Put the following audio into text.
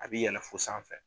A bi yɛlɛ fo sanfɛ.